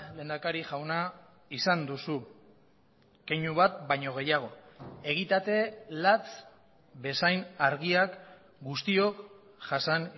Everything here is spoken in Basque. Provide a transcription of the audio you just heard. lehendakari jauna izan duzu keinu bat baino gehiago egitate lats bezain argiak guztiok jasan